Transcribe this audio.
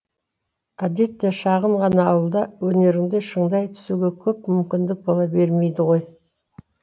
әдетте шағын ғана ауылда өнеріңді шыңдай түсуге көп мүмкіндік бола бермейді ғой